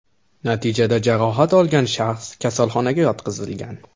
Natijada jarohat olgan shaxs kasalxonaga yotqizilgan.